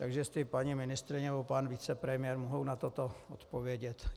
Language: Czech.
Tak jestli paní ministryně nebo pan vicepremiér mohou na toto odpovědět.